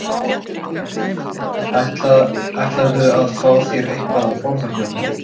Heimir: Ætlarðu að fá þér eitthvað að borða hérna?